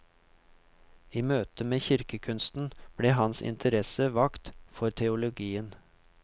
I møte med kirkekunsten ble hans interesser vakt for teologien.